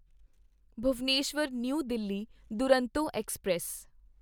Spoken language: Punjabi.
ਭੁਵਨੇਸ਼ਵਰ ਨਿਊ ਦਿਲ੍ਹੀ ਦੁਰੰਤੋ ਐਕਸਪ੍ਰੈਸ